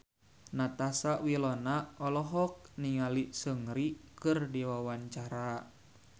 Natasha Wilona olohok ningali Seungri keur diwawancara